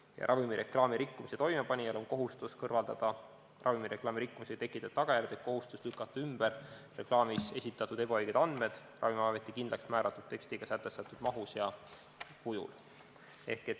Ja ravimireklaami rikkumise toimepanijal on kohustus kõrvaldada ravimireklaami rikkumisega tekitatud tagajärg ehk kohustus lükata ümber reklaamis esitatud ebaõiged andmed Ravimiameti kindlaksmääratud tekstiga sätestatud mahus ja kujul.